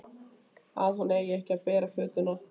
Að hún eigi ekki að bera fötuna.